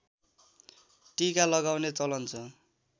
टीका लगाउने चलन छ